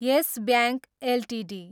yes Bank Ltd